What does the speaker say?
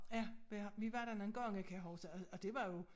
Ja jeg har vi var der nogen gange kan jeg huske og det var jo